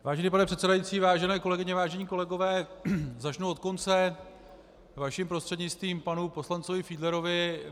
Vážený pane předsedající, vážené kolegyně, vážení kolegové, začnu od konce, vaším prostřednictvím panu poslanci Fiedlerovi.